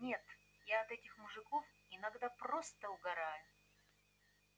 нет я от этих мужиков иногда просто угораю